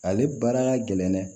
Ale baara ka gɛlɛn dɛ